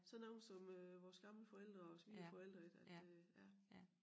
Sådan nogle som øh vores gamle forældre og svigerforældre ik at øh ja